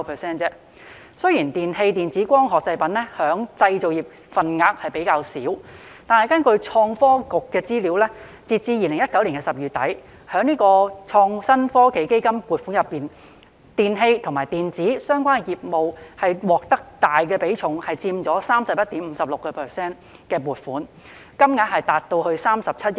雖然"電器、電子及光學製品"在製造業中佔份額較少，但根據創科局的資料，截至2019年10月底，在創新及科技基金的撥款中，"電氣及電子"相關業務獲得大比重的撥款，佔 31.56%， 金額達至37億元。